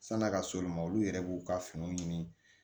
San'a ka s'olu ma olu yɛrɛ b'u ka finiw ɲini